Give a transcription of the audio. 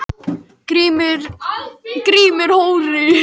Grímlaugur, hvenær kemur strætó númer fjörutíu og níu?